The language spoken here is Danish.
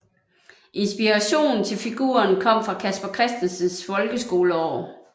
Inspirationen til figuren kom fra Casper Christensens folkeskoleår